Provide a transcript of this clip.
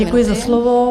Děkuji za slovo.